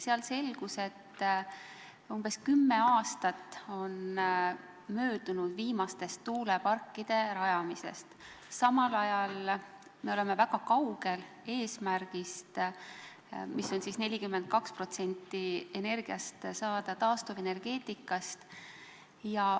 Seal selgus, et umbes kümme aastat on möödunud viimaste tuuleparkide rajamisest, samal ajal oleme väga kaugel eesmärgist, et saada 42% energiast taastuvenergeetikast.